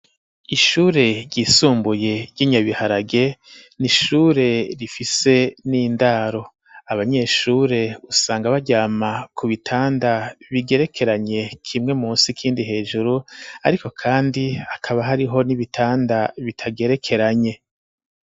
ishure ryisumbuye ry'Inyabiharage ni ishure rifise n'indaro. Abanyeshure usanga baryama ku bitanda bigerekeranye, kimwe musi ikindi hejuru, ariko kandi hakaba hariho n'ibitanda bitagerekeranye.